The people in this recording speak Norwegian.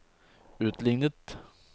utlignet